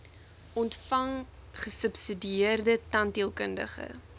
ontvang gesubsidieerde tandheelkundige